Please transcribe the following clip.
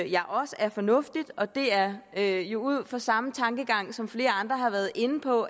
jeg også er fornuftigt og det er er jo ud fra samme tankegang som flere andre har været inde på